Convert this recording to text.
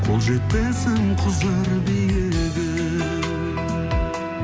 қол жетпесім кұзыр биігім